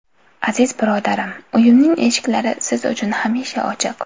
Aziz birodarim, uyimning eshiklari siz uchun hamisha ochiq!